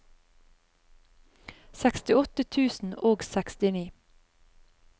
sekstiåtte tusen og sekstini